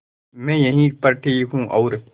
मैं यहीं पर ठीक हूँ और